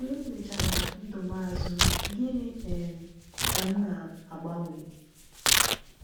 Mgbe m lechara ndụ m azụ, gịnị um ka m ga-agbanwe?